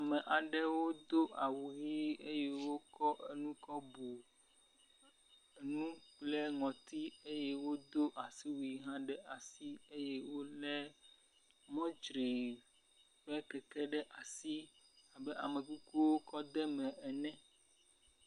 Ame aɖewo do awu ʋi eye wokɔ enu kɔ bu nu kple ŋɔti eye wodo asiwui hã ɖe asi eye wolé mɔtstrii ƒe keke ɖe asi abe amekuku wokɔ de eme ene.